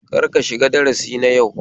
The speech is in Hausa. Kar ka shiga darasi na yau